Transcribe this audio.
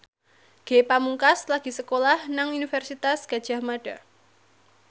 Ge Pamungkas lagi sekolah nang Universitas Gadjah Mada